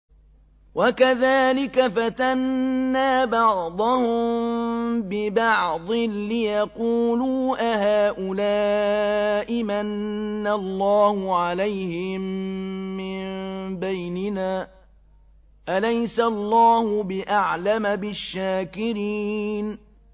وَكَذَٰلِكَ فَتَنَّا بَعْضَهُم بِبَعْضٍ لِّيَقُولُوا أَهَٰؤُلَاءِ مَنَّ اللَّهُ عَلَيْهِم مِّن بَيْنِنَا ۗ أَلَيْسَ اللَّهُ بِأَعْلَمَ بِالشَّاكِرِينَ